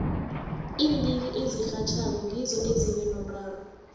iimbiki ezirhatjhako ngizo ezibe nomraro